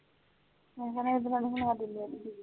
ਤੂੰ ਰਹੀ ਤੇ ਬਣਾ ਲੈ ਗਈ